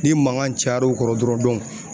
Ni mankan cayara u kɔrɔ dɔrɔn